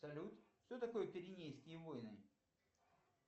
салют что такое пиренейские войны